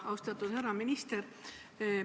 Austatud härra minister!